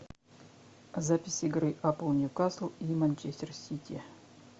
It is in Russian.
запись игры апл ньюкасл и манчестер сити